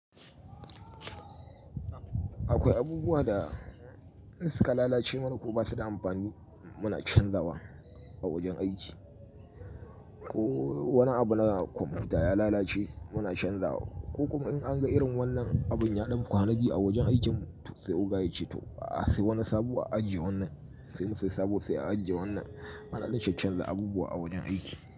Akwai abubuwa da in suka lalace mana kuma ba su da amfani muna canzawa a wajen aiki. Ko wani abu na kwamfuta ya lalace muna canzawa. Ko kuma in an ga irin wannan abun ya ɗan kwana biyu a wajen aikin mu to sai oga yace to a sai wani sabo a ajiye wannan. Sai mu sai sabo sai a ajiye wannan. Mana dai caccanza abubuwa a wajen aiki.